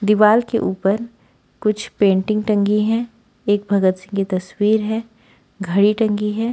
दीवाल के ऊपर कुछ पेंटिंग टंगी है एक भगत सिंह की तस्वीर है घड़ी टंगी है।